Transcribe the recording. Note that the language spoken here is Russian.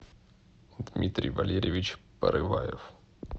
дмитрий валерьевич порываев